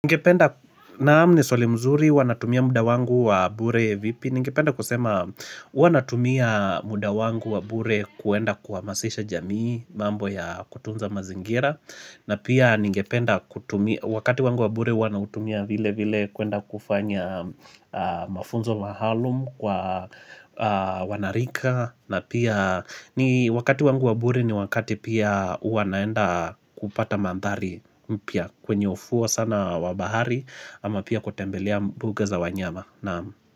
Ningependa naam ni swali mzuri huwa natumia muda wangu wa bure vipi Ningependa kusema huwa natumia muda wangu wa bure kuenda kuhamasisha jamii mambo ya kutunza mazingira na pia ningependa wakati wangu wa bure huwa nautumia vile vile kuenda kufanya mafunzo mahalum kwa wanarika na pia ni wakati wangu wa bure ni wakati pia hua naenda kupata mandhari mpya kwenye ufuo sana wa bahari ama pia kutembelea mbuga za wanyama Naam.